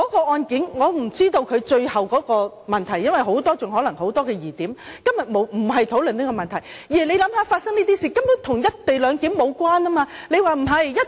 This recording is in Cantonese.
我不知道那宗案件的最後結果，因為可能還有很多疑點，今天不是討論這個問題，但請想一想，發生這種事根本與"一地兩檢"無關。